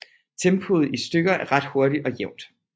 Tempoet i stykket er ret hurtigt og jævnt